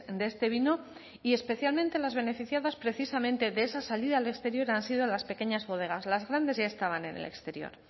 de este vino y especialmente las beneficiadas precisamente de esa salida al exterior han sido las pequeñas bodegas las grandes ya estaban en el exterior